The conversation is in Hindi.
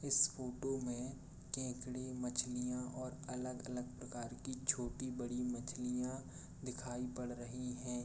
इस फोटो में केकड़े मछलियां और अलग-अलग प्रकार के छोटी-बड़ी मछलियां दिखाई पड़ रही हैं।